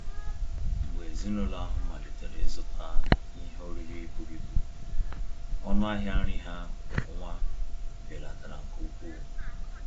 Mgbe ezinụlọ ahụ malitere ịzụta ihe oriri buru ibu, ọnụ ahịa nri ha kwa ọnwa belatara nke ukwuu